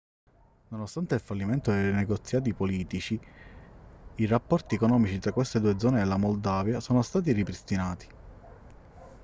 nonostante il fallimento dei negoziati politici i rapporti economici tra queste due zone della moldavia sono stati ripristinati